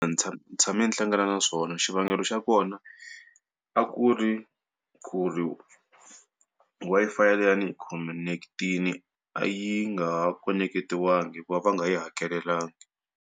ndzi tshame ni hlangana na swona xivangelo xa kona, a ku ri ku ri Wi-Fi leyi a ni yi khoneketile, a yi nga ha khoneketiwangi hikuva a va nga yi hakelelanga.